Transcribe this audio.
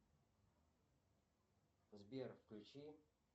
сбер включи